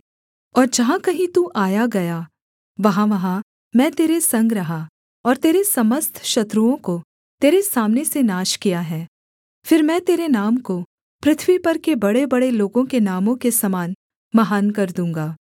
और जहाँ कहीं तू आया गया वहाँवहाँ मैं तेरे संग रहा और तेरे समस्त शत्रुओं को तेरे सामने से नाश किया है फिर मैं तेरे नाम को पृथ्वी पर के बड़ेबड़े लोगों के नामों के समान महान कर दूँगा